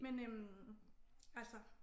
Men øh altså